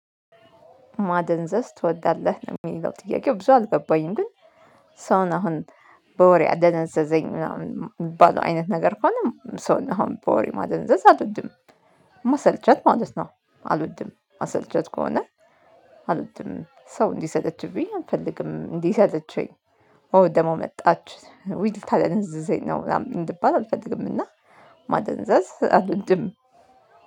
ማደንዘዝ ትወዳለህ? የሚለው ጥያቄው ብዙ አልገባኝም ግን ሰውን አሁን በወሬ አደነዘዘኝ ምናምን የሚባለው አይነት ነገር ከሆነ ሰውን አሁን በወሬ ማደንዘዝ አልወድም። ማሰልቸት ማለት ነው አልወድም መሰልቸት ከሆነ። አልወድም ሰው እንዲሰጠችብኝ አንፈልግም እንዲሰለቸኝ። ኦ ደግሞ መጣች ውይ ልታደነዝዘኝ ነው እንድባል አልፈልግም። እና ማደንዘዝ አልንብም።